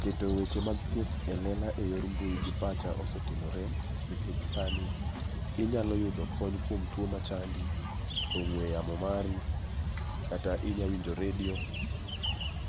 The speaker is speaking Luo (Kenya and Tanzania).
Keto weche mag thieth elela eyor mbui gi pacha sani osetimore nikech sani inyalo yudo kony kuom tuo machandi, ong'ue yamo mari kata inyalo winjo redio,